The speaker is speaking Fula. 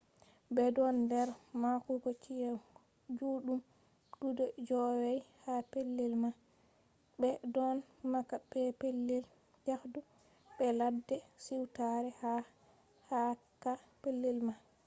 ɓe ɗon nder mahugo ci’e juɗɗum guda joowey ha pellel man ɓe ɗon maha be pellel yahdu be ladde siwtare ha cakka pellel man